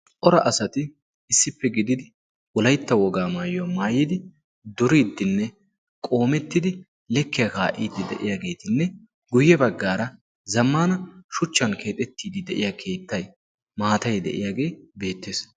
ora asati issippe gididi wolaytta wogaa maayuyaa maayidi duriiddinne qoomettidi lekkiyaa kaa'iidi de'iyaageetinne guyye baggaara zammana shuchchan keexettiiddi de'iya keettay maatai de'iyaagee beettees